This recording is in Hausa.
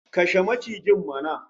Kashe macijin mana!